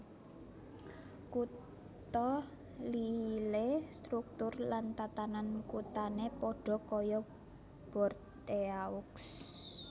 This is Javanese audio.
Kutha Lille struktur lan tatanan kuthane padha kaya Bordeaux